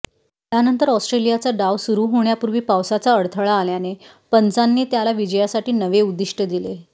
त्यानंतर ऑस्ट्रेलियाचा डाव सुरू होण्यापूर्वी पावसाचा अडथळा आल्याने पंचांनी त्यांना विजयासाठी नवे उद्दिष्ट दिले